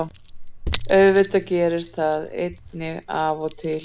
Auðvitað gerist það einnig af og til.